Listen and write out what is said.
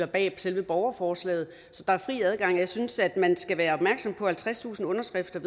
bag selve borgerforslaget så der er fri adgang jeg synes at man skal være opmærksom på at halvtredstusind underskrifter